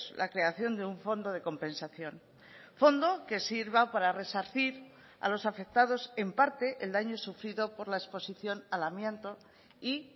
la creación de un fondo de compensación fondo que sirva para resarcir a los afectados en parte el daño sufrido por la exposición al amianto y